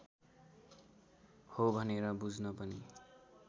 हो भनेर बुझ्न पनि